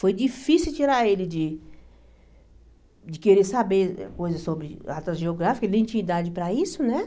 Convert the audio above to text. Foi difícil tirar ele de de querer saber coisas sobre atlas geográficos, ele nem tinha idade para isso, né?